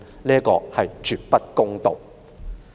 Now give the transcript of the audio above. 這是絕不公道的。